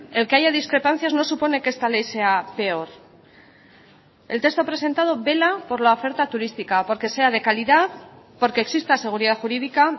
el que haya discrepancias no supone que esta ley sea peor el texto presentado vela por la oferta turística porque sea de calidad porque exista seguridad jurídica